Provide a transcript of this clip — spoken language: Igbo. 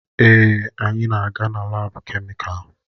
Èè, anyị na-aga laabu kemịkalụ.